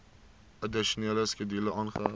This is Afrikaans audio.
addisionele skedule aangeheg